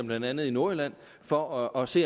blandt andet i nordjylland for at se